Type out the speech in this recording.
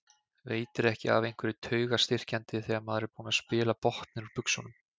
Veitir ekki af einhverju taugastyrkjandi þegar maður er búinn að spila botninn úr buxunum.